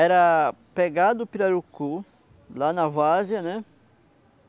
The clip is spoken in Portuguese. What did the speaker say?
Era pegar do pirarucu, lá na várzea, né?